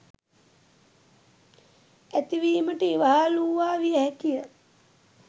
ඇතිවීමට ඉවහල් වූවා විය හැකි ය.